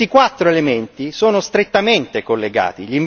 E questi quattro elementi sono strettamente collegati.